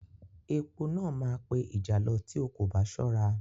Epo náà máa pe ìjàlọ tí o kò bá ṣọ́ra.